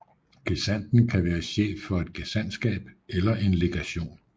Gesandten kan være chef for et gesandtskab eller en legation